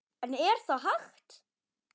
En er það hægt?